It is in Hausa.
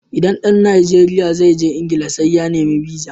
Idan ɗan Najeriya zai je England sai ya nemi biza (visa).